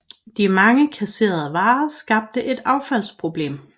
De mange kasserede varer skaber et affaldsproblem